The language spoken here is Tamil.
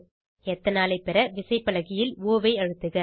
எத்தனாலை பெற விசைப்பலகையில் ஒ ஐ அழுத்துக